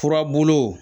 Furabulu